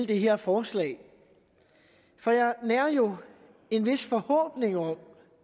det her forslag for jeg nærer jo en vis forhåbning om